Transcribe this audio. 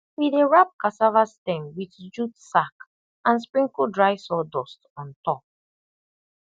we dey wrap cassava stem with jute sack and sprinkle dry sawdust on top